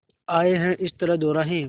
आए हैं इस तरह दोराहे